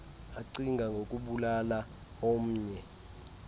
acinga ngokubulala ornnye